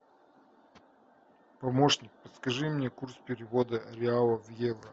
помощник подскажи мне курс перевода реала в евро